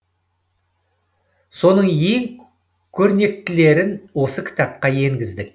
соның ең көрнектілерін осы кітапқа енгіздік